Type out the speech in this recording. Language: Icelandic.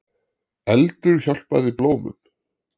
Eldur hjálpaði blómum